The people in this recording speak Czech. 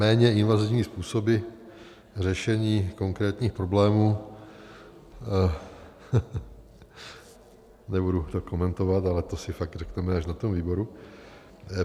Méně invazivní způsoby řešení konkrétních problémů - nebudu to komentovat, ale to si fakt řekneme až na tom výboru.